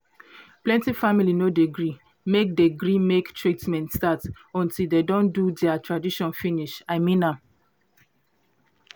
plenty family no dey gree make dey gree make treatment start until dey don do dea tradition finish i mean am